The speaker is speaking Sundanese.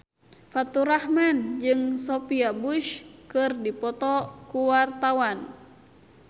Faturrahman jeung Sophia Bush keur dipoto ku wartawan